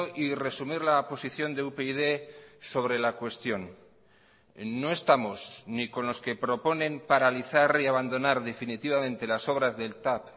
y resumir la posición de upyd sobre la cuestión no estamos ni con los que proponen paralizar y abandonar definitivamente las obras del tav